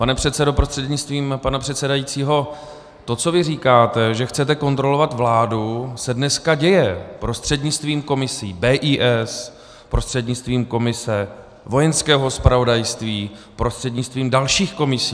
Pane předsedo prostřednictvím pana předsedajícího, to, co vy říkáte, že chcete kontrolovat vládu, se dneska děje prostřednictvím komisí - BIS, prostřednictvím komise Vojenského zpravodajství, prostřednictvím dalších komisí.